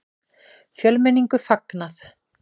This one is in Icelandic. Fjölmenningu fagnað